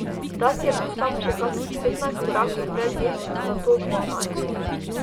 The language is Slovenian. Tat je bil samo še kakih petnajst korakov pred njim, nato dvanajst.